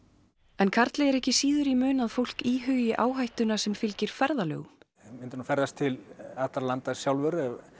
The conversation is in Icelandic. en Karli er ekki síður í mun að fólk íhugi áhættuna sem fylgir ferðalögum ég myndi nú ferðast til allra landa sjálfur